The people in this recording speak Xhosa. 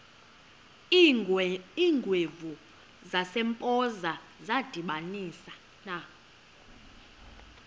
iingwevu zasempoza zadibanisana